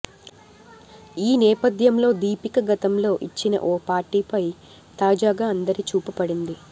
ఈ నేపథ్యంలో దీపిక గతంలో ఇచ్చిన ఓ పార్టీపై తాజాగా అందరి చూపు పడింది